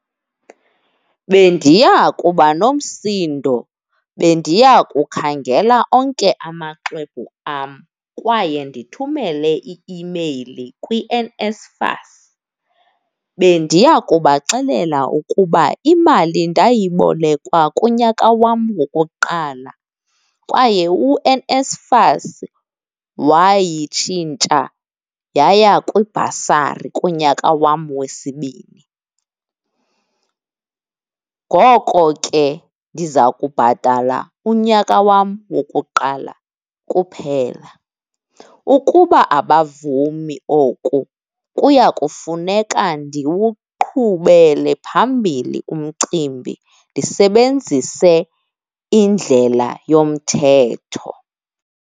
Bendiya kuba nomsindo, bendiyakukhangela onke amaxwebhu am kwaye ndithumele i-imeyili kwiNSFAS. Bendiya kubaxelela ukuba imali ndayibolekwa kunyaka wam wokuqala kwaye uNSFAS wayishintsha yaya kwibhasari kunyaka wam wesibini. Ngoko ke, ndiza kubhatala unyaka wam wokuqala kuphela. Ukuba abavumi oku, kuya kufuneka ndiwuqhubele phambili umcimbi, ndisebenzise indlela yomthetho.